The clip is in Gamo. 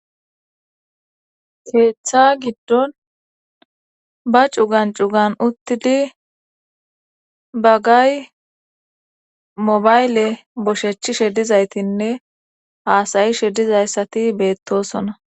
keeththa giddon ba cugan cugan uttidi bagay mobayle boshechi shedizaytinne haasayi shedizayssati beettosona